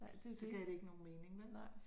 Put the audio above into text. Så gav det ikke nogen mening vel